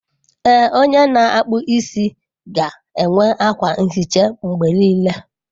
Ee, onye na-akpụ isi ga-enwe akwa nhicha mgbe niile.